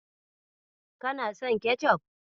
Kana son kecof?